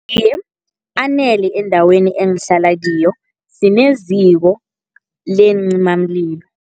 Iye, anele endaweni engihlala kiyo, sineziko leencimamlilo.